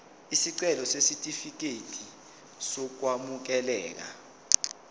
isicelo sesitifikedi sokwamukeleka